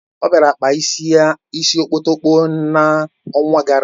O bịara kpaa isi okpotokpo n'ọnwa gara aga